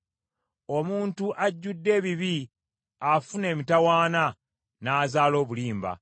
Omuntu ajjudde ebibi afuna emitawaana, n’azaala obulimba.